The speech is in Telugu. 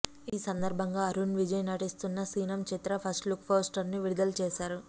ఈ సందర్భంగా అరుణ్ విజయ్ నటిస్తున్న సినమ్ చిత్ర ఫస్ట్లుక్ పోస్టర్ను విడుదల చేశారు